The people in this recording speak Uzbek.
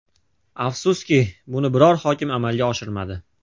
Afsuski, buni biron bir hokim amalga oshirmadi.